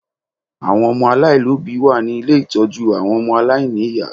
Àwọn ọmọ aláàlóbìí wà ní ilé ìtọ́jú àwọn ọmọ aláìníyá